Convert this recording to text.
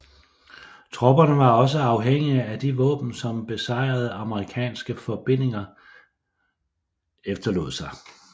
Tropperne var også afhængige af de våben som besejrede amerikanske forbindinger efterlod sig